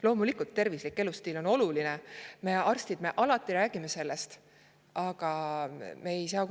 Loomulikult, tervislik elustiil on oluline – meie, arstid, alati sellest räägime.